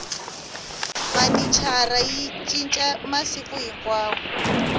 vhanicara yi cinca masiku hinkwawo